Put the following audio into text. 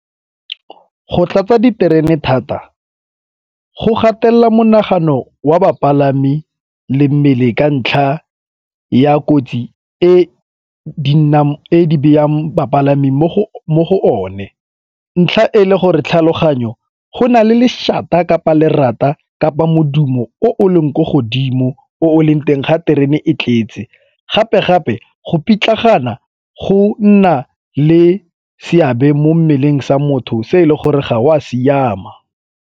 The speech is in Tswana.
Go tlatsa di terene thata go gatelela monagano wa bapalami le mmele ka ntlha ya kotsi e di beyang bapalami mo go one. Ntlha e le gore tlhaloganyo go na le leshata kapa lerata kapa modumo o o leng ko godimo o o leng teng ga terene e tletse, gape-gape go pitlagana go nna le seabe mo mmeleng sa motho se e le gore ga o a siama.